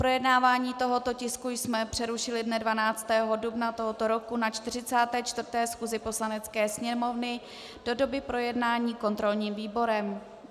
Projednávání tohoto tisku jsme přerušili dne 12. dubna tohoto roku na 44. schůzi Poslanecké sněmovny do doby projednání kontrolním výborem.